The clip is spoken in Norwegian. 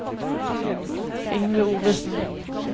Yngve Ovesen